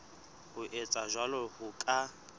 ho etsa jwalo ho ka